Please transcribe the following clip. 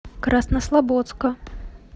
краснослободска